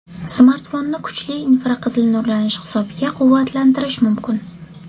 Smartfonni kuchli infraqizil nurlanish hisobiga quvvatlantirish mumkin.